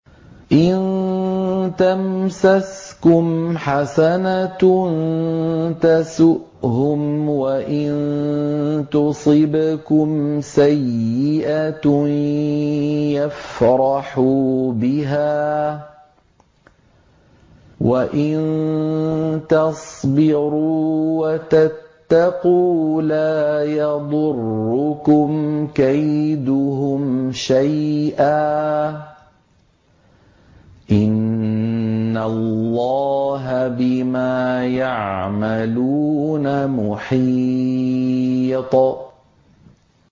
إِن تَمْسَسْكُمْ حَسَنَةٌ تَسُؤْهُمْ وَإِن تُصِبْكُمْ سَيِّئَةٌ يَفْرَحُوا بِهَا ۖ وَإِن تَصْبِرُوا وَتَتَّقُوا لَا يَضُرُّكُمْ كَيْدُهُمْ شَيْئًا ۗ إِنَّ اللَّهَ بِمَا يَعْمَلُونَ مُحِيطٌ